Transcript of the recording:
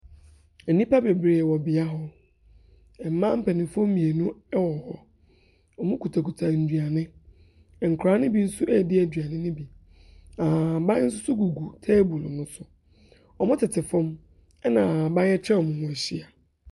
Enipa bebree wɔ bia hɔ. Mbaa paninfoɔ mienu ɛwɔ hɔ. Ɔmo kutakuta nduane. Nkɔraa ne bi so edi eduane ne bi. Ahahaban soso gugu teebol no so. Ɔmo tete fɔm ɛna ahahaban etwa ɔmo ho ehyia.